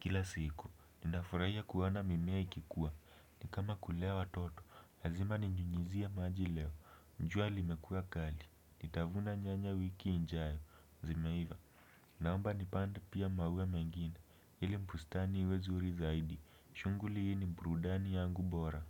kila siku. Ninafurahia kuona mimea ikikua, ni kama kulea watoto, lazima ninyunyuzie maji leo jua limekuwa kali, nitavuna nyanya wiki ijayo, zimeivaa. Naomba nipande pia maua mengine. Ili bustani iwe nzuri zaidi. Shughuli hii ni burudani yangu bora.